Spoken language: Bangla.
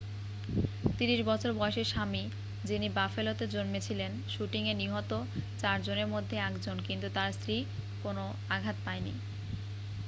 30 বছর বয়সী স্বামী যিনি বাফেলোতে জন্মেছিলেন শুটিংয়ে নিহত চারজনের মধ্যে একজন কিন্তু তার স্ত্রী কোনও আঘাত পায়নি